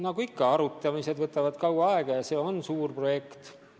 Nagu ikka, arutamised võtavad kaua aega ja see on suur projekt.